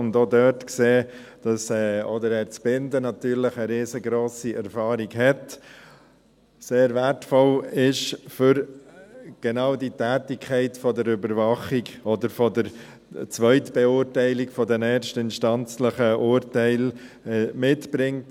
Wir haben dort gesehen, dass auch Herr Zbinden natürlich eine riesengrosse Erfahrung mitbringt, die sehr wertvoll ist, genau für die Tätigkeit der Überwachung oder der Zweitbeurteilung der erstinstanzlichen Urteile.